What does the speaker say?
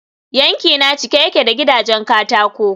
yankina cike yake da gidajen katako